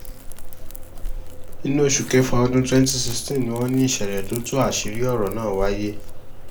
inú oṣù kẹfà ọdún twenty sixteen ni wọ́n ní ìṣẹ̀lẹ̀ tó tú àṣírí ọ̀rọ̀ náà wáyé